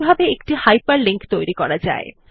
এরপর আমরা দেখব Writer এ কিভাবে হাইপারলিক তৈরী করা যায়